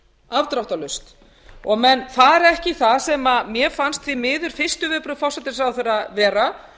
afdráttarlaust og menn fari ekki í það sem mér fannst því miður fyrstu viðbrögð forsætisráðherra vera